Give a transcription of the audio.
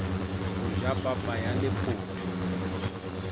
ho ja papa ya lephotho